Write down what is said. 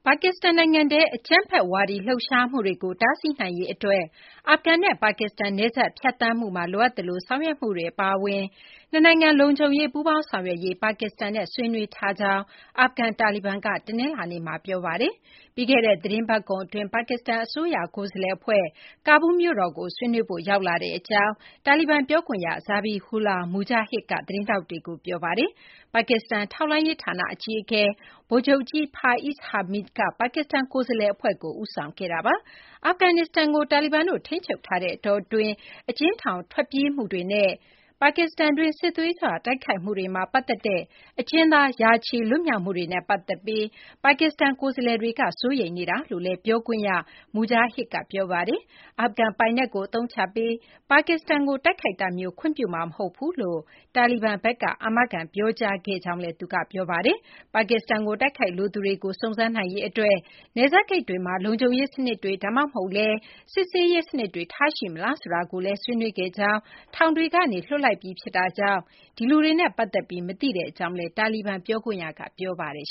ါကစ္စတန် နိုင်ငံထဲ အကြမ်းဖက် ဝါဒီ လှုပ်ရှားမှုတွေကို တားဆီးနိုင်ရေး အတွက် အာဖဂန်နဲ့ ပါကစ္စတန် နယ်စပ် ဖြတ်သန်းမှုမှာ လိုအပ်သလို ဆောင်ရွက်မှုတွေ အပါအဝင် နှစ်နိုင်ငံ လုံခြုံရေး ပူးပေါင်းဆောင်ရွက်ရေး ပါကစ္စတန်နဲ့ ဆွေးနွေးထားကြောင်း အာဖဂန် တာလီဘန်က တနလာၤနေ့မှာ ပြောပါတယ်။ ပြီးခဲ့တဲ့ သတင်းပတ်ကုန် အတွင်း ပါကစ္စတန် အစိုးရရဲ့ ကိုယ်စားလှယ် အဖွဲ့ ကာဘူးလ်ကို ဆွေးနွေးဖို့ ရောက်လာကြောင်း တာလီဘန် ပြောခွင့်ရ Zabihullah Mujahid က သတင်းထောက်တွေကို ပြောပါတယ်။ ပါကစ္စတန် ထောက်လှမ်းရေး ဌာန အကြီးအကဲ ဗိုလ်ချုပ်ကြီး Faiz Hameed က ပါကစ္စတန် ကိုယ်စားလှယ် အဖွဲ့ကို ဦးဆောင်ခဲ့တာပါ။ အာဖဂန်နစ္စတန်ကို တာလီဘန်တို့ ထိန်းချုပ်ထားတဲ့ အတောအတွင်း အကျဉ်းထောင်ဖောက် ထွက်ပြေးမှုတွေနဲ့ ပါကစ္စတန်တွင်း စစ်သွေးကြွ တိုက်ခိုက်မှုတွေမှာ ပတ်သက်တဲ့ အကျဉ်းသား ရာချီ လွတ်မြောက်မှုတွေနဲ့ ပတ်သက်ပြီး ပါကစ္စတန် ကိုယ်စားလှယ်တွေက စိုးရိမ်ကြောင်း ပြောဆိုခဲ့တယ်လို့ တာလီဘန် ပြောခွင့်ရ Mujahid က ပြောပါတယ်။ အာဖဂန် ပိုင်နက် ကို အသုံးချပြီး ပါကစ္စတန်ကို တိုက်ခိုက်မှုမျိုးကို ခွင့်ပြုမှာ မဟုတ်ကြောင်း တာလီဘန်ဘက်က အာမခံ ပြောကြားခဲ့ကြောင်းလည်း သူက ပြောပါတယ်။ ပါကစ္စတန်ကို တိုက်ခိုက်လိုသူတွေကို စုံစမ်းနိုင်ရေး အတွက် နယ်စပ် ဂိတ်တွေမှာ လုံခြုံရေး စနစ်တွေ ဒါမှမဟုတ်လည်း စစ်ဆေးရေး စနစ်တွေ ထားရှိမလားဆိုတာကိုလည်း ဆွေးနွေးခဲ့ကြောင်း၊ ထောင်တွေကနေ လွှတ်လိုက်ပြီး ဖြစ်တာကြောင့် ဒီလူတွေနဲ့ ပတ်သက်ပြီး မသိကြောင်းလည်း တာလီဘန် ပြောခွင့်ရက ပြောပါတယ်